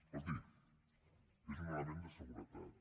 escolti és un element de seguretat